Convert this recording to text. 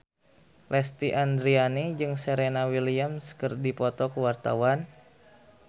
Lesti Andryani jeung Serena Williams keur dipoto ku wartawan